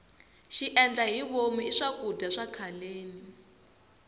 xiendlahivomu i swakudya swa khaleni